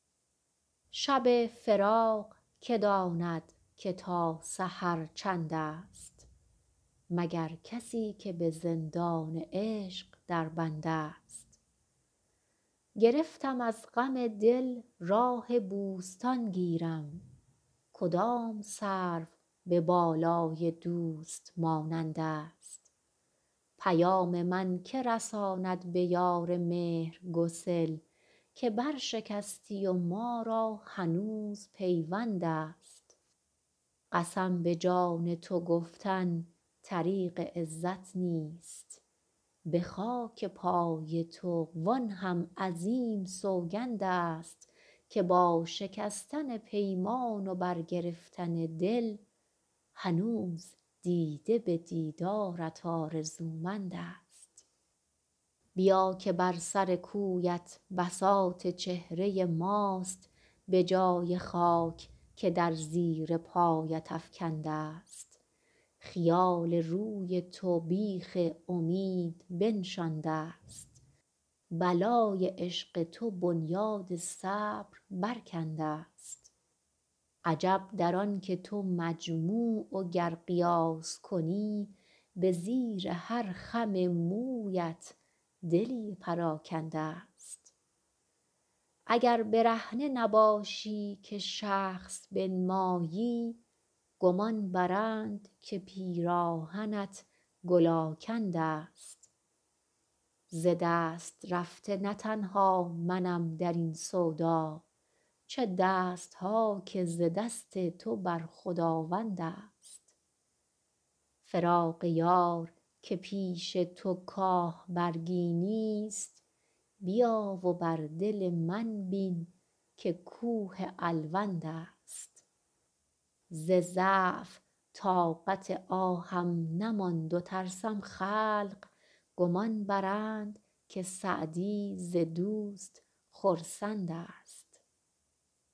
شب فراق که داند که تا سحر چندست مگر کسی که به زندان عشق در بندست گرفتم از غم دل راه بوستان گیرم کدام سرو به بالای دوست مانندست پیام من که رساند به یار مهرگسل که برشکستی و ما را هنوز پیوندست قسم به جان تو گفتن طریق عزت نیست به خاک پای تو وآن هم عظیم سوگندست که با شکستن پیمان و برگرفتن دل هنوز دیده به دیدارت آرزومندست بیا که بر سر کویت بساط چهره ماست به جای خاک که در زیر پایت افکندست خیال روی تو بیخ امید بنشاندست بلای عشق تو بنیاد صبر برکندست عجب در آن که تو مجموع و گر قیاس کنی به زیر هر خم مویت دلی پراکندست اگر برهنه نباشی که شخص بنمایی گمان برند که پیراهنت گل آکندست ز دست رفته نه تنها منم در این سودا چه دست ها که ز دست تو بر خداوندست فراق یار که پیش تو کاه برگی نیست بیا و بر دل من بین که کوه الوندست ز ضعف طاقت آهم نماند و ترسم خلق گمان برند که سعدی ز دوست خرسندست